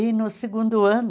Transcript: E no segundo ano,